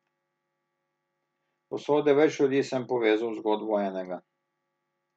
Usode več ljudi sem povezal v zgodbo enega.